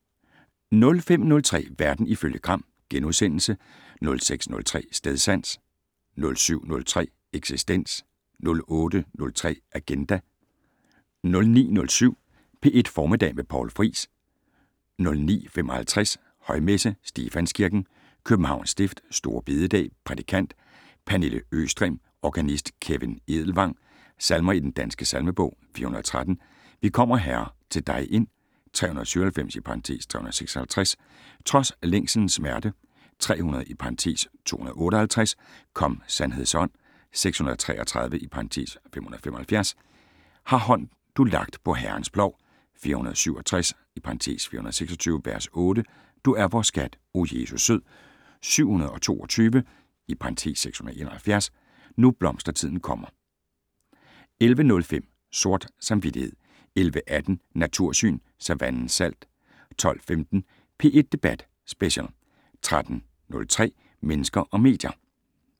05:03: Verden ifølge Gram * 06:03: Stedsans 07:03: Eksistens 08:03: Agenda 09:07: P1 Formiddag med Poul Friis 09:55: Højmesse - Stefanskirken, Københavns Stift. Store bededag. Prædikant: Pernille Østrem. Organist: Kevin Edelvang. Salmer i Den Danske Salmebog: 413 "Vi kommer, Herre, til dig ind". 397 (356) "Trods længselens smerte". 300 (258) "Kom; sandheds ånd". 633 (575) "Har hånd du lagt på Herrens plov". 467 (426) v. 8 "Du er vor skat, o Jesus sød". 722 (671) "Nu blomstertiden kommer". 11:05: Sort samvittighed 11:18: Natursyn: Savannens salt 12:15: P1 Debat Special 13:03: Mennesker og medier